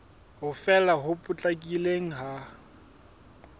ho fela ho potlakileng ha